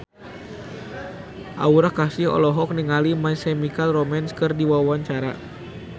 Aura Kasih olohok ningali My Chemical Romance keur diwawancara